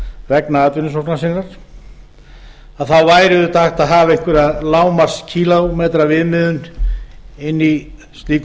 vegna atvinnusóknar sinnar þá væri auðvitað hægt að hafa einhverja lágmarkskílómetraviðmiðun inni í slíku